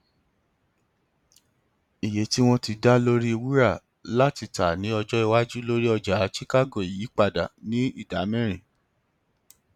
iye tí wọn ti dá lórí wúrà láti tà ní ọjọ iwájú lórí ọjà chicago yí padà ní ìdámẹrin